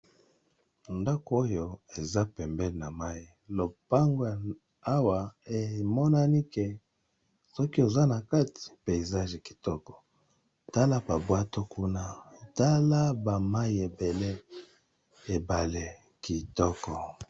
Ndako oyo eza pembee na mai lopango awa emonani ke soki oza na kati peizage kitoko tala babwato kuna tala ba mai ebele ebale kitoko.